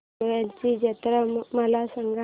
शेगांवची जत्रा मला सांग